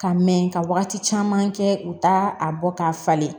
Ka mɛn ka wagati caman kɛ u t'a a bɔ k'a falen